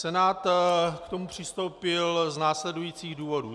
Senát k tomu přistoupil z následujících důvodů.